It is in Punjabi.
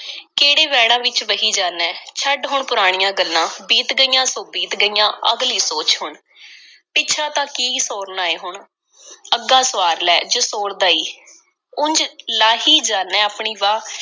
ਕਿਹੜੇ ਵਹਿਣਾਂ ਵਿੱਚ ਵਹੀ ਜਾਦਾ ਐਂ। ਛੱਡ ਹੁਣ ਪੁਰਾਣੀਆਂ ਗੱਲਾਂ, ਬੀਤ ਗਈਆਂ, ਸੋ ਬੀਤ ਗਈਆਂ—ਅਗਲੀ ਸੋਚ ਹੁਣ। ਪਿੱਛਾ ਤਾਂ ਕੀ ਸੌਰਨਾ ਏ ਹੁਣ, ਅੱਗਾ ਸੁਆਰ ਲੈ ਜੇ ਸੌਰਦਾ ਈ। ਉਂਝ ਲਾਈ ਹੀ ਜਾਨਾਂ ਐਂ, ਆਪਣੀ ਵਾਹ